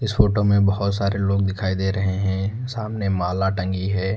इस फोटो में बहुत सारे लोग दिखाई दे रहे हैं सामने माला टंगी है।